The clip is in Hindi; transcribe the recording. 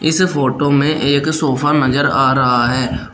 इस फोटो में एक सोफा नजर आ रहा है।